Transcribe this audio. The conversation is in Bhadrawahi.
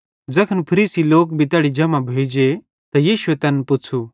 ज़ैखन फरीसी लोक भी तैड़ी जम्हां भोइजेइ त यीशुए तैन पुच़्छ़ू